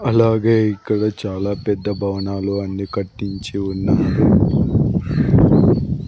అలాగే ఇక్కడ చాలా పెద్ద భవనాలు అన్ని కట్టించి ఉన్నారు.